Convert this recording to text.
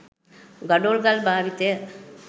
ගඩොල් ගල් භාවිතය